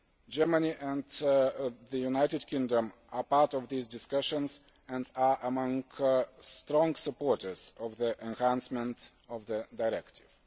Germany and the United Kingdom are part of these discussions and are among strong supporters of the enhancement of the directive.